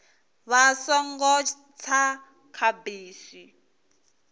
vha songo tsa kha bisi